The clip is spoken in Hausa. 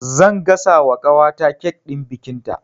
Zan gasa wa ƙawata kek ɗin bikinta